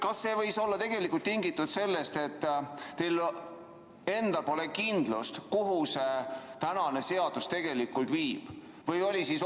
Kas see võis olla tingitud sellest, et teil endal pole kindlust, kuhu see seaduseelnõu tegelikult võib viia?